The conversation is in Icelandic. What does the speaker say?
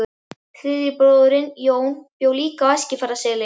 Þriðji bróðirinn, Jón, bjó líka í Eskifjarðarseli.